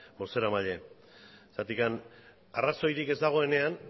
bozeramaile zergatik arrazoirik ez dagoenean